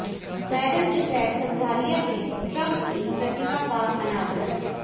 madam Tussauds संग्रहालय में Trump की प्रतिमा का अनावरण